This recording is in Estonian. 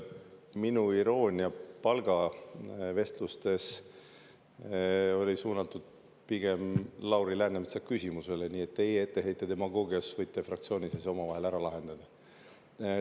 Minu iroonia palgavestluste teemal oli suunatud pigem Lauri Läänemetsa küsimusele, nii et teie oma etteheite demagoogia kohta võite fraktsioonis ise omavahel ära lahendada.